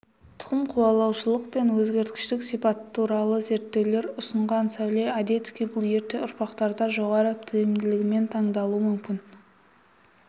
тұқым қуалаушылық пен өзгергіштік сипаты туралы зерттеулер ұсынылған сәуле одесский бұл ерте ұрпақтарда жоғары тиімділігімен таңдалуы мүмкін